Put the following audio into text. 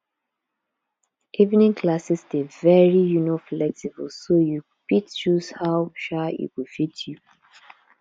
evening classes dey very um flexible so you fit choose how um e go fit u